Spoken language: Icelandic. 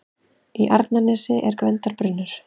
Í Arnarnesi er Gvendarbrunnur.